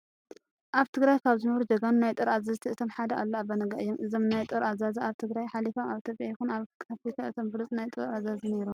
ኣብ ትግራይ ካብ ዝነበሩ ጀጋኑ ናይ ጦር ኣዘንቲ እቶም ሓደ ኣሉላ ኣባነጋ እዮም። እዞም ናይ ጦር ኣዛዚ ካብ ትግራይ ሓሊፎም ኣብ ኢትዮጵያ ይኹን ኣብ ኣፍሪካ እቶም ብሉፅ ናይ ጦር ኣዛዚ ነይሮም።